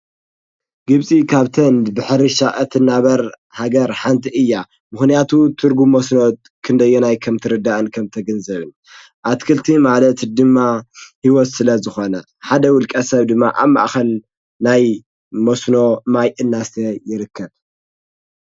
ግብፂ ካብተን ብሕርሻ እትናበር ሃገር ሓንቲ እያ፡፡ ምኽንያቱ ትርጉም መስኖ ክንደየናይ ከምትርዳእን ከምትግንዘብን፡፡ ኣትክልቲ ማለት ድማ ህይወት ስለዝኾነ ሓደ ውልቀ ሰብ ድማ ኣብ ማእኸል ናይ መስኖ ማይ እናስተየ ይርከብ፡፡